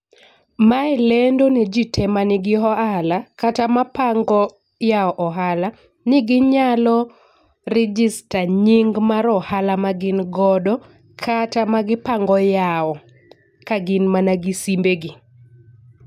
Mae lendo ne jii te manigi ohala kata ma pango yawo ohala ni ginyalo register nying mar ohala ma gin godo kata ma gipango yawo ka gin mana gi simbe gi.